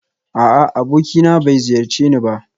A'a abokina bai ziyarce ni ba